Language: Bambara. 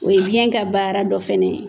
O ye biyɛn ka baara dɔ fɛnɛ ye.